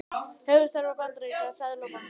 Höfuðstöðvar bandaríska seðlabankans.